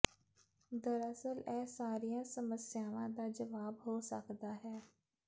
ਦਰਅਸਲ ਇਹ ਸਾਰੀਆਂ ਸਮੱਸਿਆਵਾਂ ਦਾ ਜਵਾਬ ਹੋ ਸਕਦਾ ਹੈ